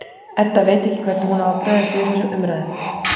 Edda veit ekki hvernig hún á að bregðast við þessum umræðum.